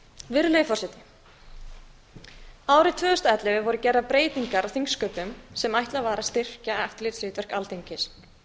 virðulegi forseti árið tvö þúsund og ellefu voru gerðar breytingar á þingsköpum sem ætlað var að styrkja eftirlitshlutverk alþingis